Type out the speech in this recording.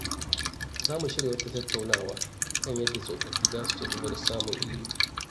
Za mu shirya wata tattaunawa kan yadda tsofaffi za su ci gaba da samun ilimi.